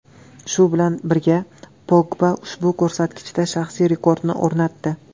Shu bilan birga Pogba ushbu ko‘rsatkichda shaxsiy rekordini o‘rnatdi.